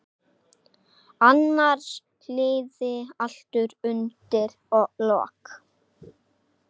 Annars liði allt undir lok.